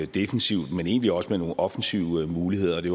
defensivt men egentlig også med nogle offensive muligheder og det